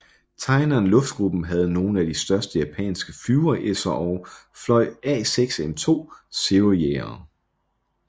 Tainan Luftgruppen havde nogle af de største japanske flyveresserog fløj A6M2 Zero jagere